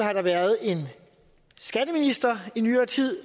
været en skatteminister i nyere tid